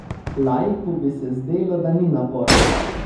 Laiku bi se zdelo, da ni naporno.